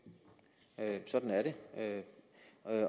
at det sådan er det